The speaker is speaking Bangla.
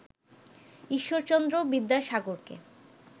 ঈশ্বরচন্দ্র বিদ্যাসাগরকে